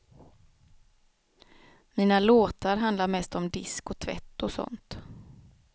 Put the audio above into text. Mina låtar handlar mest om disk och tvätt och sånt.